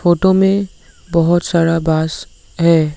Photo में बहोत सारा बांस है।